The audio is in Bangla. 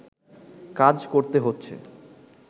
কাজ করতে হচ্ছে